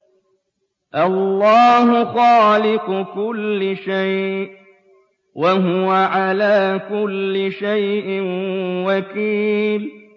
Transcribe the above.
اللَّهُ خَالِقُ كُلِّ شَيْءٍ ۖ وَهُوَ عَلَىٰ كُلِّ شَيْءٍ وَكِيلٌ